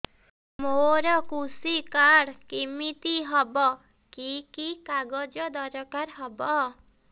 ମୋର କୃଷି କାର୍ଡ କିମିତି ହବ କି କି କାଗଜ ଦରକାର ହବ